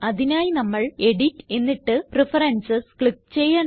അതിനായി നമ്മൾ എഡിറ്റ് എന്നിട്ട് പ്രഫറൻസസ് ക്ലിക്ക് ചെയ്യണം